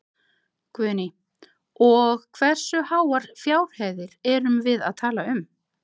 Guðný: Og hversu háar fjárhæðir erum við að tala um?